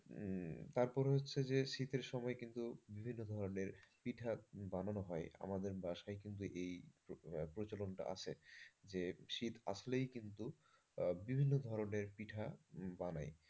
তারপরে হচ্ছে যে শীতের সময়ে কিন্তু বিভিন্ন ধরনের পিঠা বানানো হয় আমাদের বাসায় কিন্তু এই প্রচলনটা আছে। যে শীত আসলেই কিন্তু বিভিন্ন ধরনের পিঠা বানায়।